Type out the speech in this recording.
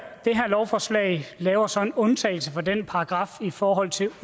lovforslag laver så en undtagelse fra den paragraf i forhold til